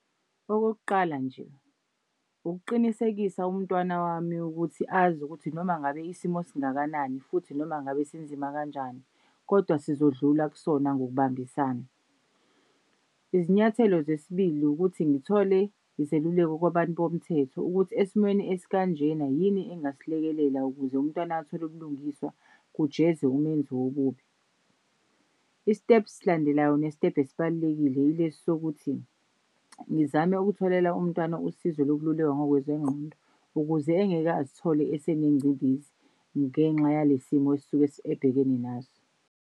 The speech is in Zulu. Okokuqala nje, ukuqinisekisa umntwana wami ukuthi azi ukuthi noma ngabe isimo singakanani futhi noma ngabe sinzima kanjani kodwa sizodlula kusona ngokubambisana. Izinyathelo zesibili ukuthi ngithole izeluleko kwabantu bomthetho, ukuthi esimweni esikanjena yini engasilekelela ukuze umntwana athole ubulungiswa kujeze umenzi wobubi. I-step esilandelayo nestebhu esibalulekile yilesi sokuthi ngizame ukutholela umntwana usizo lokululekwa ngokwezengqondo ukuze engeke azithole esenengcindezi ngenxa yale simo esuke ebhekene naso.